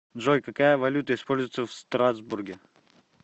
джой какая валюта используется в страсбурге